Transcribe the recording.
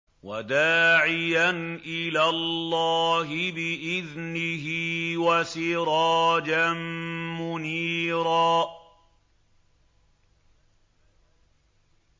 وَدَاعِيًا إِلَى اللَّهِ بِإِذْنِهِ وَسِرَاجًا مُّنِيرًا